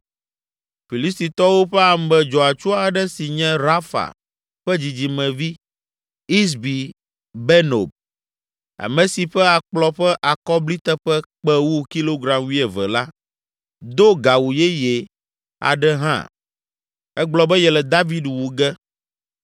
Filistitɔwo ƒe ame dzɔatsu aɖe si nye Rafa ƒe dzidzimevi, Isbi Benob, ame si ƒe akplɔ ƒe akɔbliteƒe kpe wu kilogram wuieve la, do gawu yeye aɖe hã. Egblɔ be yele David wu ge.